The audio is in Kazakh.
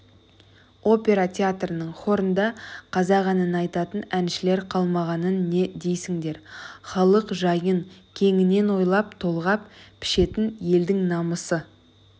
опера театрының хорында қазақ әнін айтатын әншілер қалмағанын не дейсіңдер халық жайын кеңінен ойлап толғап пішетін елдің намысы